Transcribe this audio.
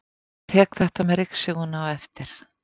Ég tek þetta með ryksugunni á eftir.